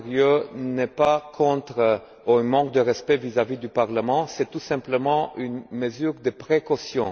Andrieu, n'est pas un manque de respect vis à vis du Parlement, c'est tout simplement une mesure de précaution.